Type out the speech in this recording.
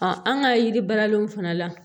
an ka yiri baaralenw fana la